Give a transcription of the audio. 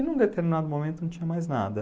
E num determinado momento não tinha mais nada.